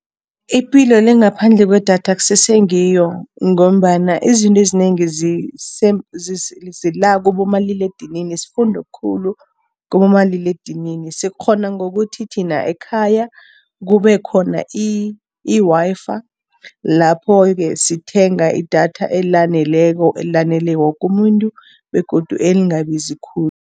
Ipilo le ngaphandle kwedatha akusese ngiyo ngombana izinto ezinengi zila kibomaliledinini, sifunda okhulu kibomaliledinini. Sikghona ngokuthi thina ekhaya, kube khona i-Wi-Fi, lapho-ke sithenga idatha elaneleko, elanele woku umuntu begodu elingabizi khulu.